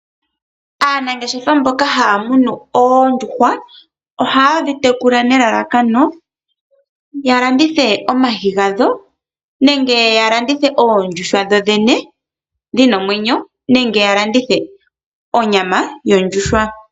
Aanangeshefa mboka haya munu oondjuhwa, ohaye dhi tekula nelalakano ya landithe omayi gadho nenge ya landithe oondjuhwa dho dhene dhina omwenyo nenge ya landithe onyama yondjuhwa.